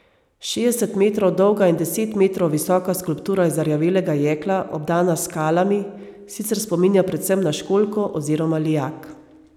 Šestdeset metrov dolga in deset metrov visoka skulptura iz zarjavelega jekla, obdana s skalami, sicer spominja predvsem na školjko oziroma lijak.